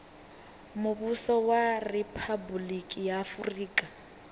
muvhuso wa riphabuliki ya afurika